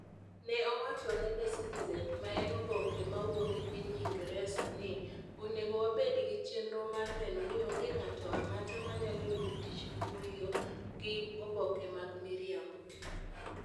Ne owacho ne The Citizen, ma en oboke mawuok e piny Ingresa ni, "Onego wabed gi chenro mar neno ni onge ng'ato ang'ata manyalo yudo tich Dohoiyo gi oboke mag miriambo.